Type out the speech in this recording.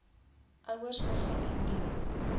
ouers begin indien